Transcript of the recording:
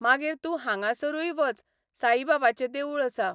मागीर तूं हांगासरूय वच, साईबाबाचें देवूळ आसा.